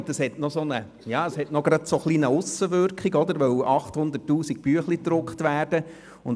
Dies hat mit 800 000 gedruckten Abstimmungsbüchlein eine Aussenwirkung.